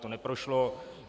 To neprošlo.